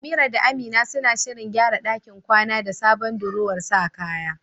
Amira da Amina suna shirin gyara ɗakin kwana da sabon durowar sa kaya.